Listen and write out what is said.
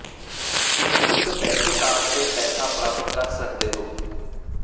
ਤੁਸੀਂ ਇੱਕ bank card ਤੇ ਪੈਸਾ ਪ੍ਰਾਪਤ ਕਰ ਸਕਦੇ ਹੋ